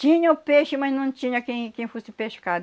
Tinha o peixe, mas não tinha quem quem fosse pescar.